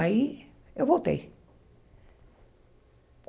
Aí eu voltei.